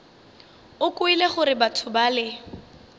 o kwele gore batho bale